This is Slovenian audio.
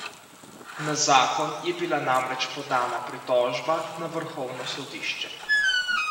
Na zakon je bila namreč podana pritožba na vrhovno sodišče.